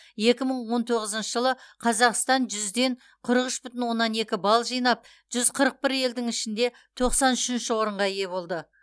екі мың он тоғызыншы жылы қазақстан жүзден қырық үш бүтін оннан екі балл жинап жүз қырық бір елдің ішінде тоқсан үшінші орынға ие болды